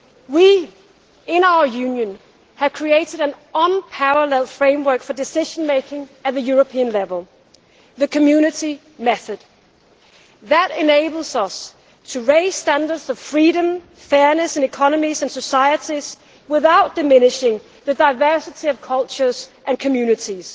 We, in our Union, have created an unparalleled framework for decision making at the European level the Community method that enables us to raise standards of freedom, fairness in economies and societies without diminishing the diversity of cultures and communities.